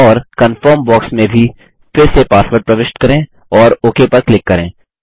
और confirm box में भी फिर से पासवर्ड प्रविष्ट करें और ओक पर क्लिक करें